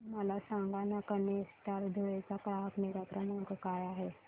मला सांगाना केनस्टार धुळे चा ग्राहक निगा क्रमांक काय आहे